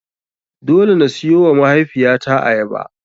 Dole na siyowa mahaifiyata ayaba.